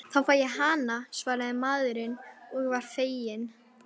Þá fæ ég hana, svaraði maðurinn og var feginn.